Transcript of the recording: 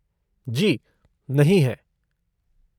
जी, नहीं है।